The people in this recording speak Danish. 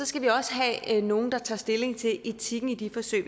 skal vi også have nogle der tager stilling til etikken i de forsøg